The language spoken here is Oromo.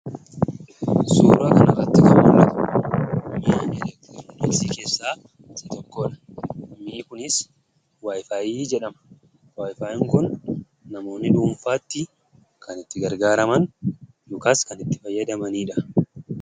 Suuraa kanarratti kan mul'atu meeshaa elektirooniksii keessaa isa tokkodha. Meeshaan kunis wayifaayii jedhama. Wayifaayiin kun namoonni dhuunfaatti kan dhuunfaatti itti gargaaraman yookaan fayyadamanidha.